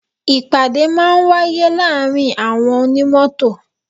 Ìpàdé máa ń wáyé láàárín àwọn onímọ́tò.